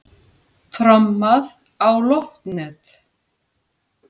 Trommað á loftnet